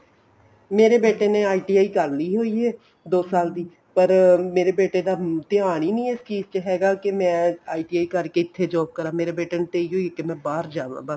ਮੇਰੇ ਬੇਟੇ ਨੇ ITI ਕਰਲੀ ਹੋਈ ਏ ਦੋ ਸਾਲ ਦੀ ਪਰ ਮੇਰੇ ਬੇਟੇ ਦਾ ਧਿਆਨ ਈ ਨੀਂ ਏ ਇਸ ਚੀਜ਼ ਚ ਹੈਗਾ ਕਿ ਮੈਂ ITI ਰੁਕ ਕੇ ਇੱਥੇ job ਕਰਾ ਮੇਰੇ ਬੇਟੇ ਨੂੰ ਤੇ ਇਹੀ ਓ ਏ ਮੈਂ ਬਾਹਰ ਜਾਵਾਂ ਬੱਸ